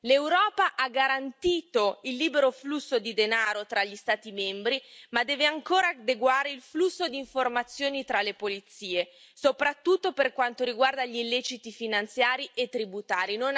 L'Europa ha garantito il libero flusso di denaro tra gli Stati membri, ma deve ancora adeguare il flusso di informazioni tra le polizie, soprattutto per quanto riguarda gli illeciti finanziari e tributari.